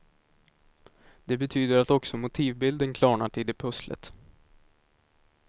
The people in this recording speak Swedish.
Det betyder att också motivbilden klarnat i det pusslet.